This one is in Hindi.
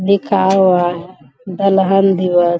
लिखा हुआ है दलहन दिवस।